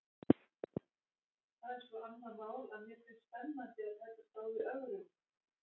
Það er svo annað mál að mér finnst spennandi að takast á við ögrun.